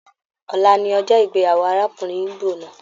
Ọ̀la ní ọjọ ìgbéyàwó arákùnrin igbó náà.